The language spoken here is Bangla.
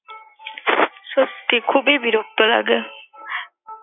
সত্যিই খুবই বিরক্ত লাগে।